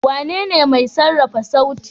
Wanene mai sarrafa sauti.